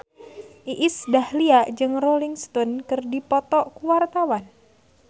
Iis Dahlia jeung Rolling Stone keur dipoto ku wartawan